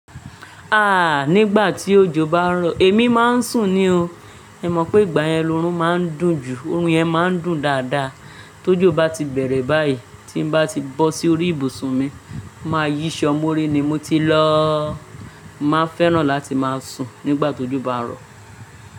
Ah! Nígbà tí òjò bá ń rọ, èmi máa ń sùn ní o. Mó mọ̀ pé ìgbà yẹn lorún máa ń dùn jù. Orun yẹn máa ń dùn dáadáa. Tójò bá ti bẹ̀rẹ̀ báyìí, tí n bá ti bọ́ sí orí ibùsùn mi, máa yí ṣọ mọ́rí ni mo ti lọ. Máa fẹ́ràn láti máa sùn nígbà tójò bá ń rọ.